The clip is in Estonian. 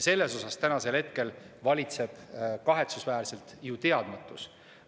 Siin valitseb kahetsusväärselt ju teadmatus.